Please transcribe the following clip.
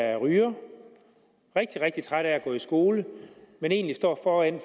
er ryger rigtig rigtig træt af at gå i skole men egentlig står foran